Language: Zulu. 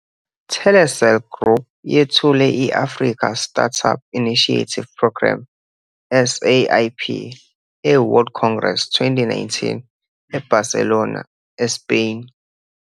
Telecel Group yethule i-Africa Startup Initiative Programme, ASIP, eWorld Congress 2019, eBarcelona, eSpain.